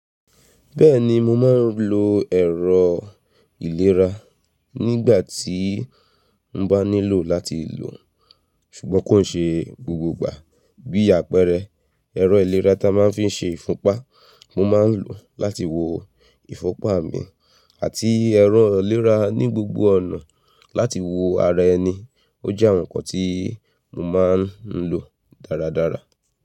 Bẹ́ẹ̀ni mo máa ń lo ẹ̀rọ ìlera nígbà tí n bá nílò láti lò ó, ṣùgbọ́n kò ṣe gbogbo ìgbà. Bí àpẹẹrẹ, ẹ̀rọ ìlera ta máa ń fi n ṣe ìfúnpá mo máa lò láti wo ìfúnpá mi àti ẹ̀rọ ìlera ní gbogbo ọ̀nà láti wo ara ẹni, ó jẹ́ ohun kan tí mo máa ń lò dáradára.